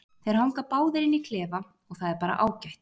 Þeir hanga báðir inni á klefa og það er bara ágætt.